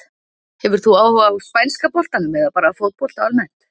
Hefur þú áhuga á spænska boltanum eða bara fótbolta almennt?